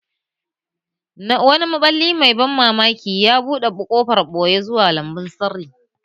Wani maɓalli mai ban mamaki ya buɗe ƙofar ɓoye zuwa lambun sirri.